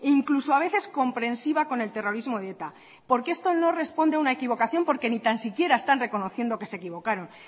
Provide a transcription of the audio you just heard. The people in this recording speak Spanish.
incluso a veces comprensiva con el terrorismo de eta porque esto no responde a una equivocación porque ni tan siquiera están reconociendo que se equivocaron